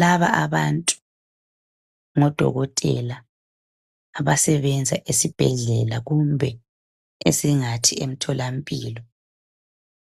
laba abantu ngo dokotela abasebenza esibhedlela kumbe esingathi emtholampilo